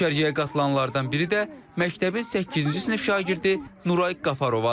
Düşərgəyə qatılanlardan biri də məktəbin səkkizinci sinif şagirdi Nuray Qafarovadır.